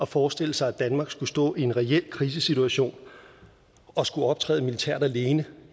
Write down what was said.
forestille sig at danmark skulle stå i en reel krisesituation og skulle optræde militært alene